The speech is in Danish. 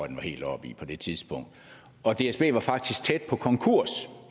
den var helt oppe i på det tidspunkt og dsb var faktisk tæt på konkurs